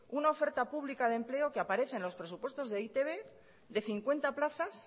un oferta pública de empleo que aparece en los presupuestos de e i te be de cincuenta plazas